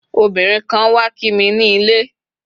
obinrin kan wa Kimi ni ile